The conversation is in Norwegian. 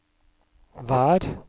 vær